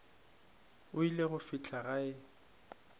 o ile go fihla gae